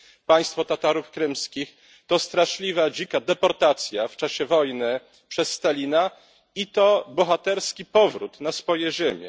państwo Tatarów krymskich, to straszliwa, dzika deportacja w czasie wojny przez Stalina i to bohaterski powrót na swoje ziemie.